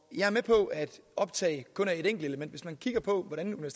jeg er med på at optag kun er et enkelt element hvis man kigger på hvordan